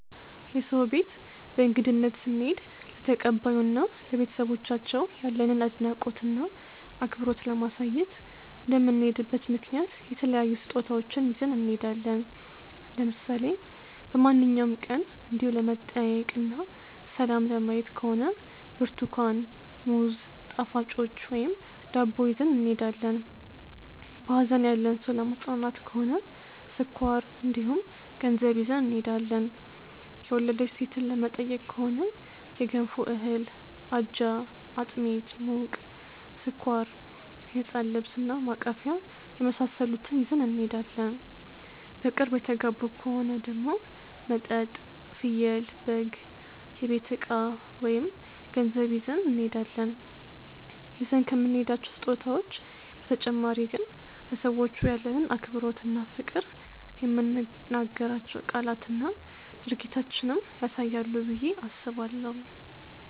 የሰው ቤት በእንግድነት ስንሄድ ለተቀባዩ እና ለቤተሰቦቻቸው ያለንን አድናቆት እና አክብሮት ለማሳየት እንደምንሄድበት ምክንያት የተለያዩ ስጦታዎችን ይዘን እንሄዳለን። ለምሳሌ በማንኛውም ቀን እንዲው ለመጠያየቅ እና ሰላም ለማየት ከሆነ ብርትኳን፣ ሙዝ፣ ጣፋጮች ወይም ዳቦ ይዘን እንሄዳለን። በሀዘን ያለን ሰው ለማፅናናት ከሆነ ስኳር እንዲሁም ገንዘብ ይዘን እንሄዳለን። የወለደች ሴትን ለመጠየቅ ከሆነ የገንፎ እህል፣ አጃ፣ አጥሚት (ሙቅ)፣ስኳር፣ የህፃን ልብስ እና ማቀፊያ የመሳሰሉትን ይዘን እንሄዳለን። በቅርብ የተጋቡ ከሆኑ ደግሞ መጠጥ፣ ፍየል/በግ፣ የቤት እቃ ወይም ገንዘብ ይዘን እንሄዳለን። ይዘን ከምንሄዳቸው ስጦታዎች በተጨማሪ ግን ለሰዎቹ ያለንን አክብሮት እና ፍቅር የምንናገራቸው ቃላትና ድርጊታችንም ያሳያሉ ብዬ አስባለሁ።